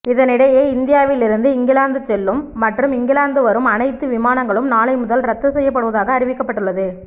இதனிடையே இந்தியாவில் இருந்து இங்கிலாந்து செல்லும் மற்றும் இங்கிலாந்து வரும் அனைத்து விமானங்களும் நாளை முதல் ரத்து செய்யப்படுவதாக அறிவிக்கப்பட்டுள்ளது